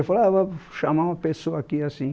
Eu falava, vou chamar uma pessoa aqui, assim.